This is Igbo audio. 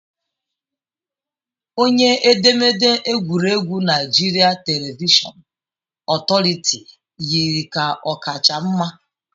Onye edemede egwuregwu Naijiria Televishọn Otoritiiụ yiri ka ọ kacha mma